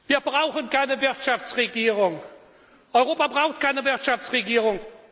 Wir brauchen keine Wirtschaftsregierung. Europa braucht keine Wirtschaftsregierung.